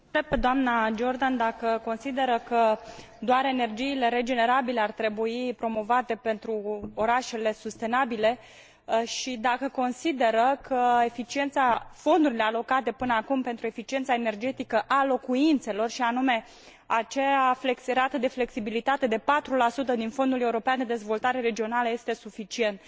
O întreb pe dna Jordan dacă consideră că doar energiile regenerabile ar trebui promovate pentru orașele sustenabile și dacă consideră că fondurile alocate până acum pentru eficiența energetică a locuințelor, și anume acea rată de flexibilitate de 4 din Fondul European de Dezvoltare Regională, sunt suficiente.